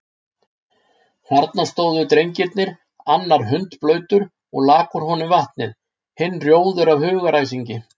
Þarna stóðu drengirnir, annar hundblautur og lak úr honum vatnið, hinn rjóður af hugaræsingi.